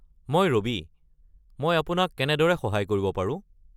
মই ৰবি, মই আপোনাক কেনেদৰে সহায় কৰিব পাৰো?